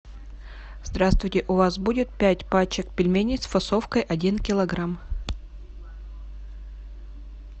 здравствуйте у вас будет пять пачек пельменей с фасовкой один килограмм